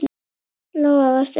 Lóa: Varstu hrædd?